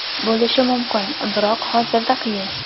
Bo‘lishi mumkin, biroq hozirda qiyin.